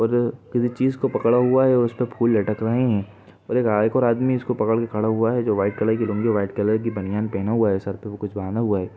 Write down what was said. और अ -- किसी चीज को पकड़ा हुआ है और उस पर फूल लटक रहे हैं और हाँ एक और आदमी उसे पकड़ के खड़ा हुआ है जो वाईट कलर की लुंगी और वाईट कलर की बनयान पहना हुआ है सर पे वो कुछ बांधा हुआ है।